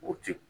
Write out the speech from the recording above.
O ti